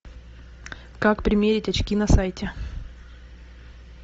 как примерить очки на сайте